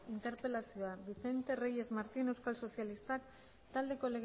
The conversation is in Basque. interpelazioa vicente reyes martín euskal sozialistak taldeko